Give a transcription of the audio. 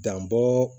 Dan bɔ